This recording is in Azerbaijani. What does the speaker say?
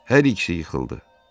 Hər ikisi yıxıldı.